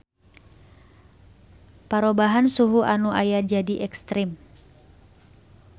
Parobahan suhu anu aya jadi ekstrem.